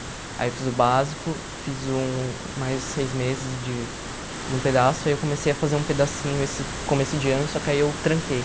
Aí eu fiz o básico, fiz um mais de seis meses de de um pedaço, aí eu comecei a fazer um pedacinho esse começo de ano, só que aí eu tranquei.